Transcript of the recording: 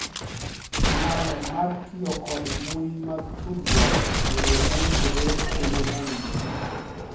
Nyalo mara mar tiyo kod mbui mag tudruok e yoo mowinjore kendo mowinjore